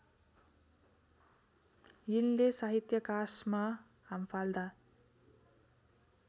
यिनले साहित्याकाशमा हाम्फाल्दा